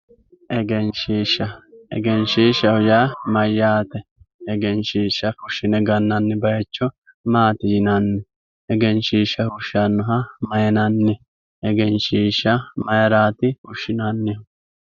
Egenshiishsha egenshiishshaho yaa mayyate egenshiishsha fushshine gannanni baayicho maati yinanni egenshiishsha fushshannoha mayinanni egenshiishsha maayiraati fushshinannihu